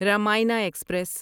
Ramayana express